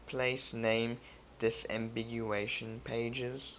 place name disambiguation pages